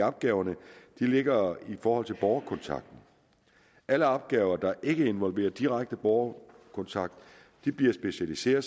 opgaverne ligger i forhold til borgerkontakten alle opgaver der ikke involverer direkte borgerkontakt bliver specialiseret